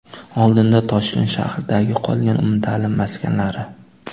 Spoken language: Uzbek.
Oldinda Toshkent shahridagi qolgan umumta’lim maskanlari.